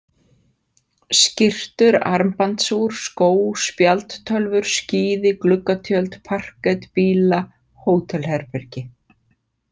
Skyrtur, armbandsúr, skó, spjaldtölvur, skíði, gluggatjöld, parket, bíla, hótelherbergi.